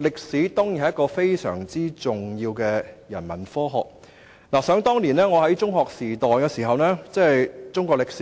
歷史當然是非常重要的人文科學，而想當年在中學時代，中史在